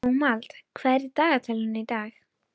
Dómald, hvað er á dagatalinu í dag?